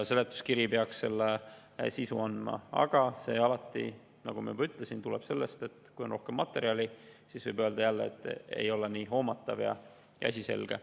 Seletuskiri peaks selle sisu andma, aga alati, nagu ma juba ütlesin, kui on rohkem materjali, siis võib jälle öelda, et ei ole nii hoomatav ega asi selge.